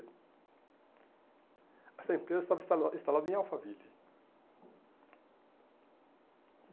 Essa empresa estava instala instalada em Alphaville.